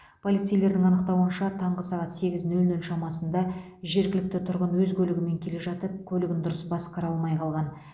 полицейлердің анықтауынша таңғы сағат сегіз нөл нөл шамасында жергілікті тұрғын өз көлігімен келе жатып көлігін дұрыс басқара алмай қалған